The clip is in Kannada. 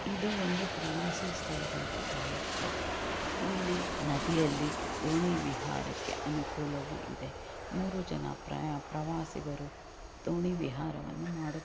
ಇದು ಒಂದು ಪ್ರವಾಸಿ ಸ್ಥಳದಂತೆ ಕಾಣುತ್ತಾ ಇದೆ ಇಲ್ಲಿ ನದಿಯಲ್ಲಿ ದೋಣಿ ವಿಹಾರಕ್ಕೆ ಅನುಕೂಲವು ಇದೆ ಮೂರು ಜನ ಪ್ರವಾಸಿಗರು ದೋಣಿ ವಿಹಾರವನ್ನು ಮಾಡುತ್ತಿದ್ದಾರೆ.